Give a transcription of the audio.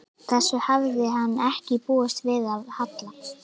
Þessu hafði hann ekki búist við af Halla.